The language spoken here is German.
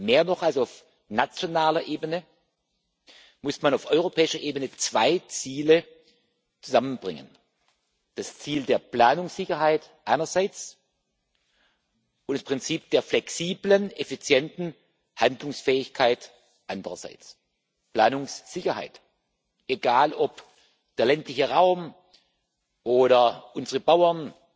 Mehr noch als auf nationaler Ebene muss man auf europäischer Ebene zwei Ziele zusammenbringen das Ziel der Planungssicherheit einerseits und das Prinzip der flexiblen, effizienten Handlungsfähigkeit andererseits. Planungssicherheit Egal, ob der ländliche Raum oder unsere Bauern,